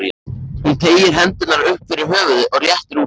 Hún teygir hendurnar upp fyrir höfuðið og réttir úr sér.